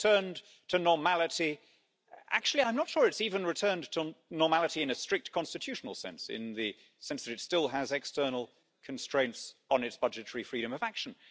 It has returned to normality. Actually, I'm not sure it has even returned to normality in a strict constitutional sense in the sense that it still has external constraints on its budgetary freedom of action.